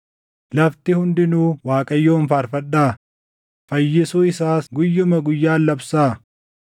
Lafti hundinuu Waaqayyoon faarfadhaa; fayyisuu isaas guyyuma guyyaan labsaa.